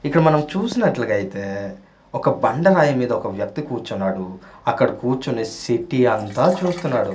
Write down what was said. ఇక్కడ మనం చూస్తూన్నట్లగైతే ఒక బండ రాయి మీద ఒక వ్యక్తి కూర్చున్నాడు అక్కడ కూర్చునేసి సిటీ అంతా చూస్తున్నాడు.